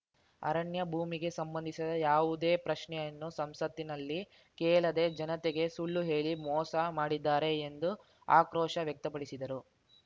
ಅರಣ್ಯ ಭೂಮಿಗೆ ಸಂಬಂಧಿಸಿದ ಯಾವುದೇ ಪ್ರಶ್ನೆಯನ್ನು ಸಂಸತ್ತಿನಲ್ಲಿ ಕೇಳದೆ ಜನತೆಗೆ ಸುಳ್ಳುಹೇಳಿ ಮೋಸ ಮಾಡಿದ್ದಾರೆ ಎಂದು ಆಕ್ರೋಶ ವ್ಯಕ್ತಪಡಿಸಿದರು